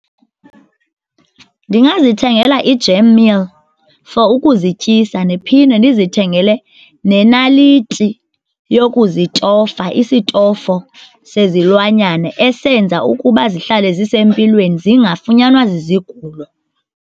Ndingazithengela i-jam meal for ukuzityisa ndiphinde ndizithengele nenaliti yokuzitofa isitofu sezilwanyana esenza ukuba zihlale zisempilweni, zingafunyanwa zizigulo.